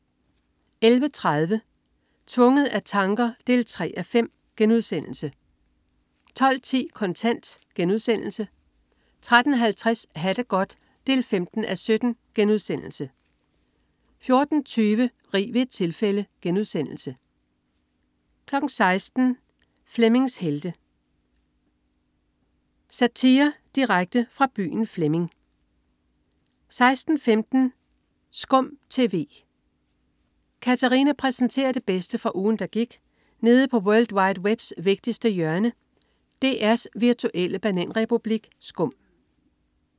11.30 Tvunget af tanker 3:5* 12.10 Kontant* 13.50 Ha' det godt 15:17* 14.20 Rig ved et tilfælde* 16.00 Flemmings Helte. Satire direkte fra byen Flemming 16.15 SKUM TV. Katarina præsenterer det bedste fra ugen, der gik nede på world wide webs vigtigste hjørne, DR's virtuelle bananrepublik SKUM